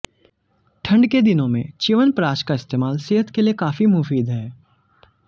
ठंड के दिनों में च्यवनप्राश का इस्तेमाल सेहत के लिए काफी मुफीद है